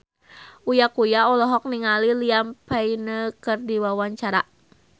Uya Kuya olohok ningali Liam Payne keur diwawancara